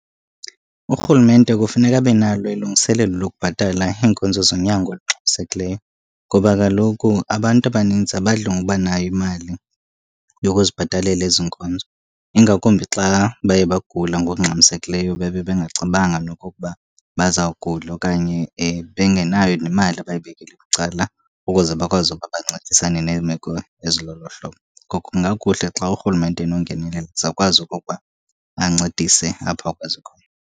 Urhulumente kufuneka abe nalo ilungiselelo lokubhatala iinkonzo zonyango elixabisekileyo, ngoba kaloku abantu abanintsi abadli ngoba nayo imali yokuzibhatalela ezi nkonzo. Ingakumbi xa baye bagula ngokungxamisekileyo bebe bengacebanga nokokuba bazawugula okanye bengenayo nemali abayibekele bucala ukuze bakwazi ukuba bancedisane neemeko ezilolo hlobo. Ngoko kungakuhle xa urhulumente enongenelela aze akwazi okokuba ancedise apho akwazi khona.